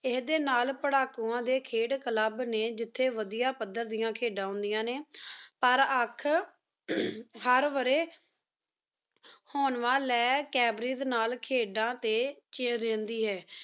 ਏਡੀ ਨਾਲ ਪੇਰਾਕੁਨ ਡੀ ਖਿਡ club ਨੀ ਜਿਥਯ ਵਾਦੇਯਾ ਪਾਦੇਦੀਆਂ ਖਿਦਾਂ ਹੁੰਦਾਂ ਨੀ ਪਰ ਅਖ ਅਹ ਦੇਰ ਵਾਰੀ ਹੁੰਵਾਂ ਲੀ cambridge ਨਾਲ ਖਿਦਾਂ ਟੀ ਖਿਰ੍ਨ੍ਦੀ ਹੈਂ